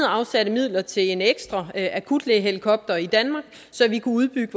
afsatte midler til en ekstra akutlægehelikopter i danmark så vi kunne udbygge